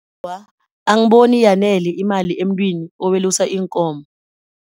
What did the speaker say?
Awa, angiboni iyanele imali emntwini owelusa iinkomo.